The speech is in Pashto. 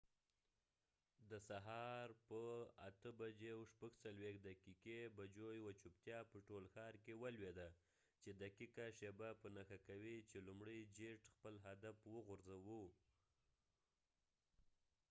د سهار په ۸:۴۶ بجو یوه چوپتیا په ټول ښار کې ولوید، چې دقیقه شیبه په نښه کوي چې لومړۍ جیټ خپل هدف وغورځوه